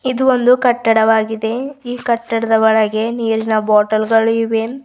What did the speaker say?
ಇದು ಒಂದು ಕಟ್ಟಡವಾಗಿದೆ ಈ ಕಟ್ಟಡದ ಒಳಗೆ ನೀರಿನ ಬಾಟಲ್ ಗಳು ಇವೆ.